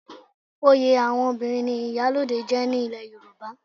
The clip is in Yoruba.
Oyè àwọn obìnrin ni Ìyálóde jẹ́ ní ilẹ̀ Yorùbá.